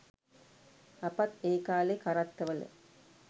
අපත් ඒ කාලේ කරත්තවල